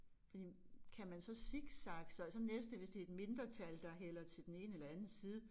Fordi kan man så zigzagge sig og så næste hvis det et mindretal der hælder til den ene eller anden side